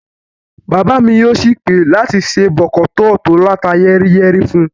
Bàbá mi yóò sì pè láti se bọ̀kọ̀tọ́ọ̀ tí ó láta yẹ́ríyẹ́rí fún un